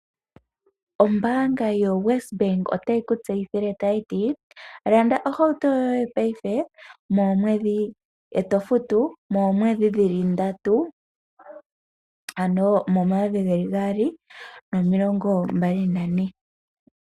Ombaanga yoWesbank otayi ku tseyithile kutya landa ohauto yoye paife e to futu moomwedhi dhi li ndatu, ano momayovi gaali nomilongo mbali nane.